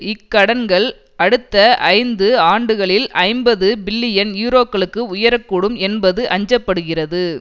இக்கடன்கள் அடுத்த ஐந்து ஆண்டுகளில் ஐம்பது பில்லியன் யூரோக்களுக்கு உயர கூடும் என்பது அஞ்ச படுகிறது